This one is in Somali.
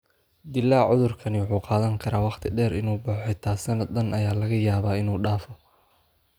Dillaaca cudurkani wuxuu qaadan karaa waqti dheer inuu baxo xitaa sannad dhan ayaa laga yaabaa inuu dhaafo.